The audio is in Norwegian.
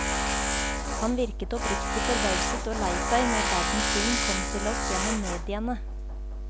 Han virket oppriktig forbauset og lei seg når verdens synd kom til oss gjennom mediene.